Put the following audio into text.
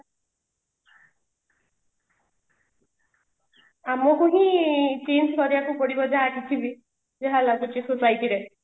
ଆମକୁ ବି change କରିବା କୁ ପଡିବ ଯାହା କିଛି ବି ଯାହା ଲାଗୁଛି society ରେ